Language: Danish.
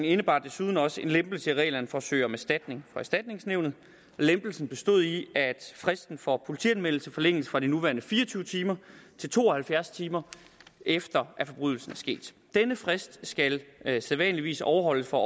indebar desuden også en lempelse i reglerne for at søge om erstatning fra erstatningsnævnet lempelsen bestod i at fristen for politianmeldelse forlænges fra de nuværende fire og tyve timer til to og halvfjerds timer efter at forbrydelsen er sket denne frist skal sædvanligvis overholdes for